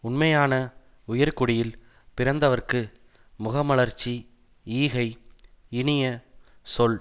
உண்மையான உயர்குடியில் பிறந்தவர்க்கு முகமலர்ச்சி ஈகை இனிய சொல்